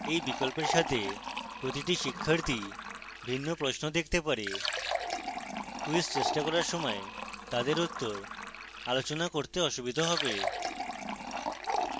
এই বিকল্পের সাথে প্রতিটি শিক্ষার্থী ভিন্ন প্রশ্ন দেখতে পাবে quiz চেষ্টা করার সময় তাদের উত্তর আলোচনা করতে অসুবিধা হবে